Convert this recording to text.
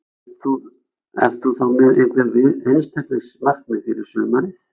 En ert þú þá með einhver einstaklings markmið fyrir sumarið?